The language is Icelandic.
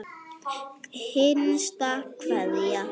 HINSTA KVEÐJA.